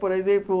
Por exemplo,